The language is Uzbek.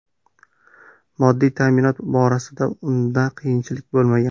Moddiy ta’minot borasida unda qiyinchilik bo‘lmagan.